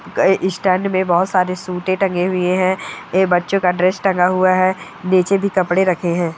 गए इस स्टैन्ड मे बोहोत सारे सूटे टंगे हुए है। ए बच्चों का ड्रेस टंगा हुआ है। नीचे भी कपड़े रखे है।